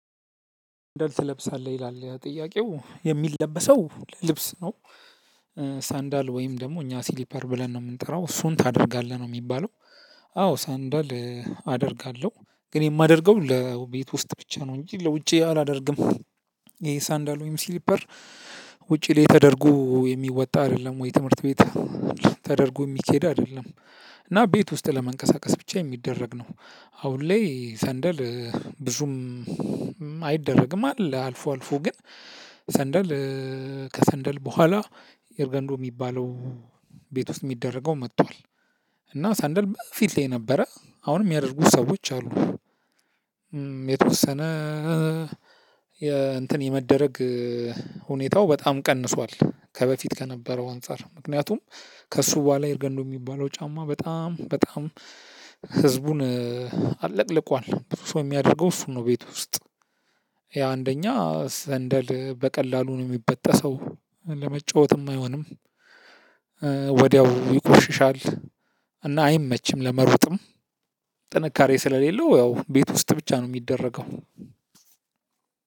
ልብስ ትለብሳለህ ይላል ያ ጥያቄው የሚለበሰው ልብስ ነው። ሳንዳል ወይም ደግሞ እኛ ሲሊፐር ብለን ነው የምንጠራው እሱን ታደርጋለህ ነው የሚባለው አዎ ሳንዳል አደርጋለሁ ግን የማደርገው ለቤት ውስጥ ብቻ ነው እንጂ ለውጪ አላደርግም። ይሄ ሳንዳል ወይም ስሊፐር ውጪ ላይ ተደርጎ የሚወጣ አይደለም ወይ ትምህርት ቤት ተደርጎ የሚኬድ አይደለም። እና ቤት ውስጥ ለመንቀሳቀስ ብቻ የሚደረግ ነው። አሁን ላይ ሰንደል ብዙም አይደረግም። አለ አልፎ አልፎ ግን ሰንደል ከሰንደል በኋላ ኤርገንዶ የሚባለው ቤት ውስጥ የሚደረገው መጥቷል። እና ሳንደል በፊት ላይ የነበረ አሁንም የሚያደርጉ ሰዎች አሉ። የተወሰነ የእንትን የመደረግ ሁኔታው በጣም ቀንሷል። ከበፊት ከነበረው አንፃር ምክንያቱም ከእሱ በኋላ ኤርገንዶ የሚባለው ጫማ በጣም በጣም ህዝቡን አጥለቅልቋል። ብዙ ሰው የሚያደርገው እሱን ነው ቤት ውስጥ ያ አንደኛ ሰንደል በቀላሉ ነው የሚበጠሰው ለመጫወትም አይሆንም። ወዲያው ይቆሽሻል እና አይመችም ለመሮጥም ጥንካሬ ስለሌለው ያው ቤት ውስጥ ብቻ ነው የሚደረገው